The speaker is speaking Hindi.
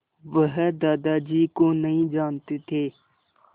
वह दादाजी को नहीं जानते थे